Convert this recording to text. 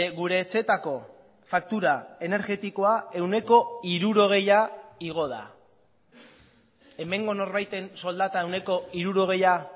gure etxeetako faktura energetikoa ehuneko hirurogeia igo da hemengo norbaiten soldata ehuneko hirurogeia